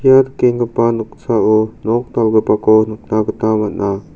ia nikenggipa noksao nok dal·gipako nikna gita man·a.